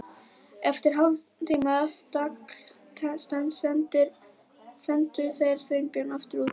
Eftir hálftíma stagl sendu þeir Sveinbjörn aftur út í grá